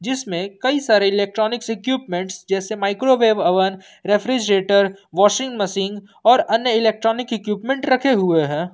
जिसमे कई सारे इलेक्ट्रॉनिक इक्विपमेंट जैसे microwave oven refrigerator washing machine और अन्य इलेक्ट्रॉनिक इक्विपमेंट रखे हुए हैं।